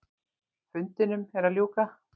Fundinum er að ljúka.